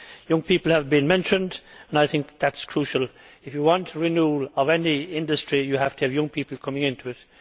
Young people have been mentioned, and I think that is crucial. If you want the renewal of any industry, you have to have young people coming into it.